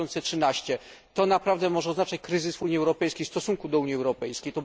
2013. To naprawdę może oznaczać kryzys i w Unii Europejskiej, i w stosunku do Unii Europejskiej.